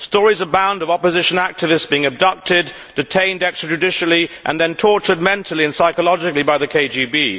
Stories abound of opposition activists being abducted, detained extrajudicially, and then tortured mentally and psychologically by the KGB.